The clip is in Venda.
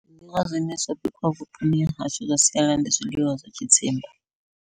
Zwiḽiwa zwine zwa bikiwa vhuponi hashu ndi zwiḽiwa zwa tshidzimba.